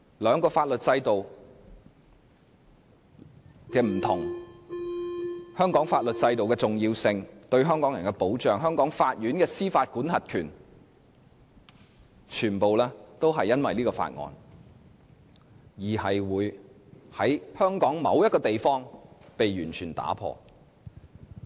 兩個法律制度的不一樣、香港法律制度的重要性、其對香港人的保障、香港法院的司法管轄權，全部也因為這項《條例草案》，在香港某個地方被完全打破。